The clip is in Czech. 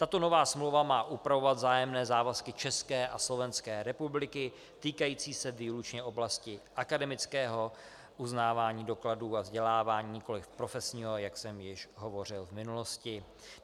Tato nová smlouva má upravovat vzájemné závazky České a Slovenské republiky týkající se výlučně oblasti akademického uznávání dokladů o vzdělávání, nikoliv profesního, jak jsem již hovořil v minulosti.